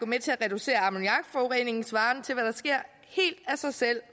med til at reducere ammoniakforureningen svarende til hvad der sker helt af sig selv